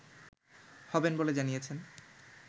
হবেন বলে জানিয়েছেন